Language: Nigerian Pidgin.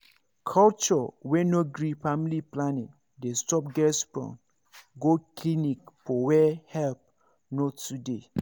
culture wey no gree family planning dey stop girls from go clinic for where help no too dey